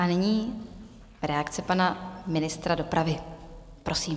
A nyní reakce pana ministra dopravy, prosím.